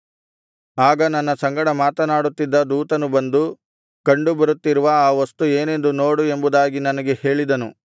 ಆಗ ನನ್ನ ಸಂಗಡ ಮಾತನಾಡುತ್ತಿದ್ದ ದೂತನು ಬಂದು ಕಂಡು ಬರುತ್ತಿರುವ ಆ ವಸ್ತು ಏನೆಂದು ನೋಡು ಎಂಬುದಾಗಿ ನನಗೆ ಹೇಳಿದನು